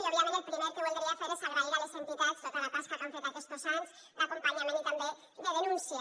i òbviament el primer que voldria fer és agrair a les entitats tota la tasca que han fet aquestos anys d’acompanyament i també de denúncia